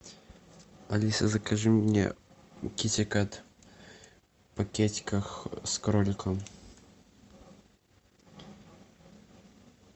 алиса закажи мне китикет пакетиках с кроликом